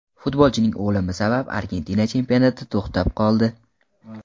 Futbolchining o‘limi sabab Argentina chempionati to‘xtab qoldi.